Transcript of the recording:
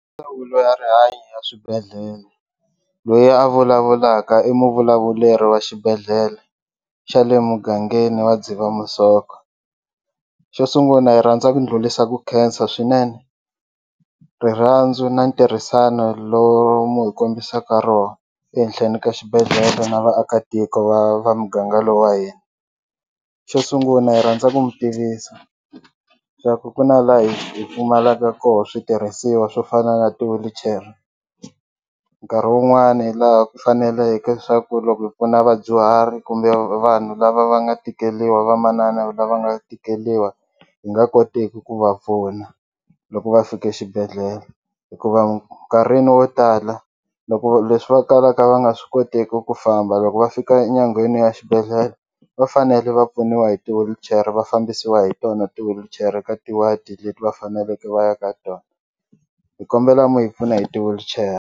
Ndzawulo ya rihanyo ya swibedhlele loyi a vulavulaka i muvulavuleri wa xibedhlele xa le mugangeni wa Dzivamisoko xo sungula hi rhandza ku dlulisa ku khensa swinene rirhandzu na ntirhisano lowu mu hi kombisaka roho ehenhleni ka xibedhlele na vaakatiko va va muganga lowu wa hina xo sungula hi rhandza ku mi tivisa swa ku ku na laha hi hi pfumalaka koho switirhisiwa swo fana na ti-wheelchair nkarhi wun'wani laha ku faneleke swa ku loko hi pfuna vadyuhari kumbe vanhu lava va nga tikeliwa vamanana lava nga tikeliwa hi nga koteki ku va pfuna loko va fike xibedhlele hikuva nkarhini wo tala loko leswi va talaka va nga swi koteki ku famba loko va fika nyangweni ya xibedhlele va fanele va pfuniwa hi ti-wheelchair va fambisiwa hi tona ti-wheelchair ka ti-ward leti va faneleke va ya ka tona hi kombela mi hi pfuna hi ti-wheelchair.